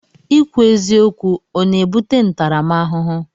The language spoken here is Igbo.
Ikwu eziokwu ọ na-ebute ntaramahụhụ?